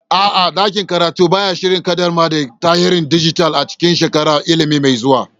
A'a, ɗakin karatu ba ya shirin ƙaddamar da tarihin dijital a cikin shekarar ilimi mai zuwa.